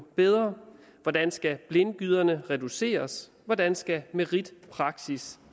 bedre hvordan skal blindgyderne reduceres hvordan skal meritpraksis